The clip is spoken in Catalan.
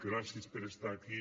gràcies per estar aquí